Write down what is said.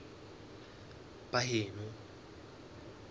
baheno